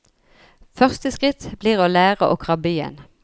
Første skritt blir å lære å krabbe igjen.